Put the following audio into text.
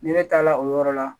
Ni ne taa la o yɔrɔ la